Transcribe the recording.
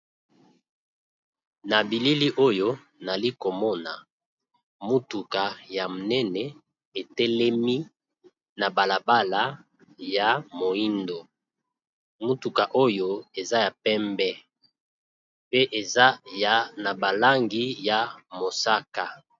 na bilili oyo nali komona motuka ya monene etelemi na balabala ya moindo motuka oyo eza ya pembe pe ezana balangi ya mosaka